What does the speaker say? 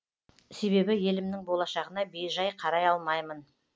себебі елімнің болашағына бейжай қарай алмаймын